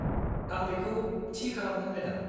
-आं बेखौ थि खालामगोन, मेडाम।